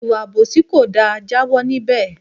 Ìwà àbòsí kò da, jawo níbè!